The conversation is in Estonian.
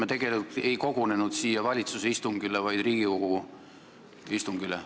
Me tegelikult ei kogunenud siia valitsuse istungile, vaid Riigikogu istungile.